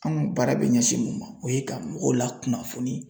Anw baara bɛ ɲɛsin mun ma, o ye ka mɔgɔw lakunnafoni